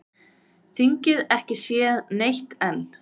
Þingið ekki séð neitt enn